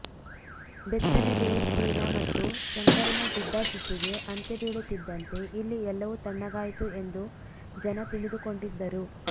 ಬೆತ್ತನಗೆರೆ ಸೀನ ಮತ್ತು ಶಂಕರನ ಜಿದ್ದಾಜಿದ್ದಿಗೆ ಅಂತ್ಯ ಬೀಳುತ್ತಿದ್ದಂತೆ ಇಲ್ಲಿ ಎಲ್ಲವೂ ತಣ್ಣಗಾಯಿತು ಎಂದು ಜನ ತಿಳಿದುಕೊಂಡಿದ್ದರು